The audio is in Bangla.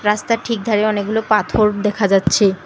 রাস্তার ঠিক ধারে অনেকগুলো পাথর দেখা যাচ্ছে।